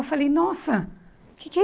Eu falei, nossa, o que que é